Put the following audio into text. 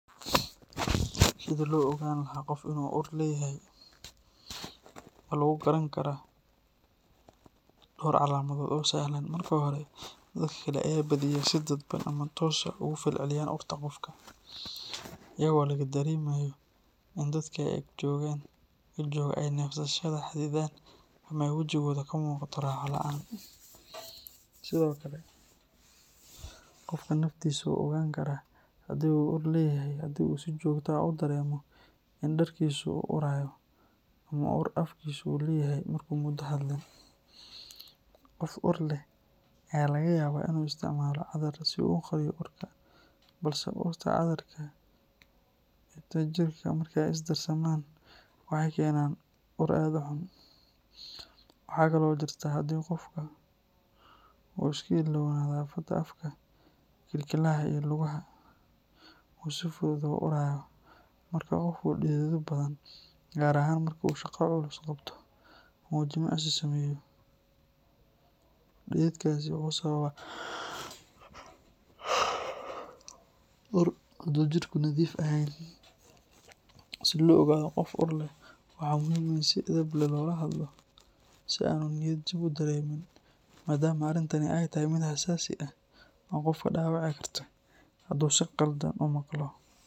Sidii loo ogaan lahaa qof inuu ur leeyahay waxa lagu garan karaa dhowr calaamadood oo sahlan. Marka hore, dadka kale ayaa badiyaa si dadban ama toos ah uga falceliya urta qofka, iyadoo laga dareemayo in dadka ag jooga ay neefsashada xaddidaan ama ay wejigooda ka muuqato raaxo la’aan. Sidoo kale, qofka naftiisa wuu ogaan karaa haddii uu ur leeyahay haddii uu si joogto ah u dareemo in dharkiisu uu urayo, ama uu afkiisu ur leeyahay markuu muddo hadlin. Qof ur leh ayaa laga yaabaa inuu isticmaalo cadar si uu u qariyo urka, balse urta cadarka iyo ta jirka markay is darsamaan, waxay keenaan ur aad u xun. Waxa kale oo jirta in haddii qofka uu iska ilaawo nadaafadda afka, kilkilyaha, iyo lugaha, uu si fudud u urayo. Marka qof uu dhidido badan, gaar ahaan marka uu shaqo culus qabto ama uu jimicsi sameeyo, dhididkaasi wuxuu sababaa ur hadduu jirku nadiif ahayn. Si loo ogaado qof ur leh, waxaa muhiim ah in si edeb leh loola hadlo si aanu niyad jab u dareemin, maadaama arrintani ay tahay mid xasaasi ah oo qofka dhaawici karta hadduu si qaldan u maqlo.